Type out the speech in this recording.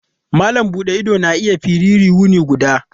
Malam buɗe ido na iya firiyi wuni guda.